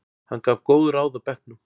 Hann gaf góð ráð á bekknum.